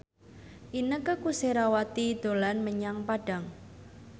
Inneke Koesherawati dolan menyang Padang